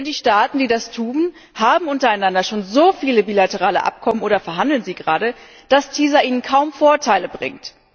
Denn die Staaten, die das tun, haben untereinander schon so viele bilaterale Abkommen oder verhandeln sie gerade, dass TISA ihnen kaum Vorteile bringt.